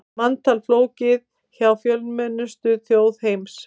Manntal flókið hjá fjölmennustu þjóð heims